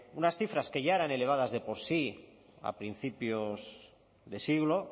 unas cifras que ya eran elevadas de por sí a principios de siglo